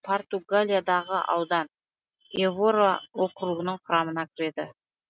португалиядағы аудан эвора округінің құрамына кіреді